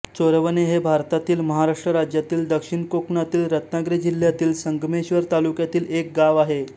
चोरवणे हे भारतातील महाराष्ट्र राज्यातील दक्षिण कोकणातील रत्नागिरी जिल्ह्यातील संगमेश्वर तालुक्यातील एक गाव आहे